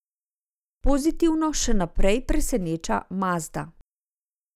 Pozitivno še naprej preseneča Mazda.